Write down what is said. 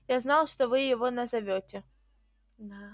я знал что вы его назовёте